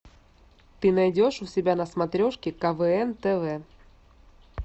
ты найдешь у себя на смотрешке квн тв